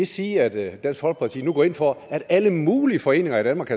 sige at dansk folkeparti nu går ind for at alle mulige foreninger i danmark